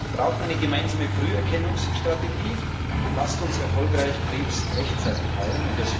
Wir brauchen eine gemeinsame Früherkennungsstrategie Lasst uns erfolgreich Krebs rechtzeitig heilen!